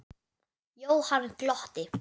Jóhann glotti.